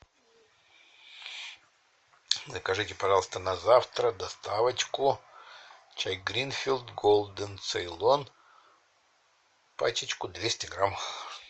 закажите пожалуйста на завтра доставочку чай гринфилд голден цейлон пачечку двести грамм